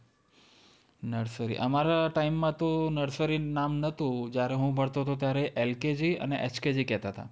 Nursery અમારા time માં તો nursery નામ નતું. જ્યારે હું ભણતો તો ત્યારે LKG અને HKG કહેતાં તા